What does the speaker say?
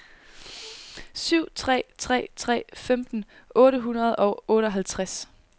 syv tre tre tre femten otte hundrede og otteoghalvtreds